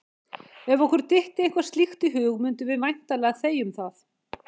ef okkur dytti eitthvað slíkt í hug mundum við væntanlega þegja um það!